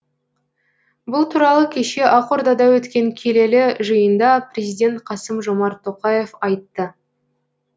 бұл туралы кеше ақордада өткен келелі жиында президент қасым жомарт тоқаев айтты